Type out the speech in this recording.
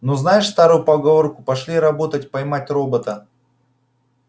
но знаешь старую поговорку пошли робота поймать робота